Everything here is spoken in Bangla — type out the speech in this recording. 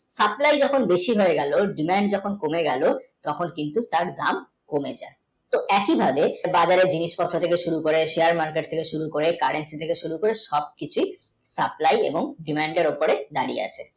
supply যখন বেশি হয়ে গেলো demand যখন কমে গেলো তখন কিন্তু তাঁর দাম কমে গেলো তো একই ভাবে বাজারে জিনিস পাত্র থেকে শুরু করে Share market এর supply যখন বেশি হয়ে গেলো Demand যখন কমে গেলো তখন কিন্তু তার দাম কমে যাই তো একই ভাবে বাজারে জিনিস পাত্র থেকে শুরু করে Share market থেকে শুরু করে সবকিছুই supply এবং demand এর ওপরে দাঁড়িয়ে আছে